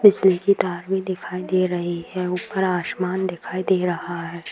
की तार भी दिखाई दे रही है ऊपर आसमान दिखाई दे रहा है |